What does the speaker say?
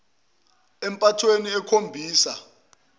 mayiholele empathweni ekhombisa